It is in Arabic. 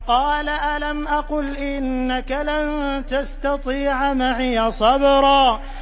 قَالَ أَلَمْ أَقُلْ إِنَّكَ لَن تَسْتَطِيعَ مَعِيَ صَبْرًا